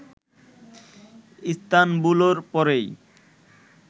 ইস্তানবুলর পরেই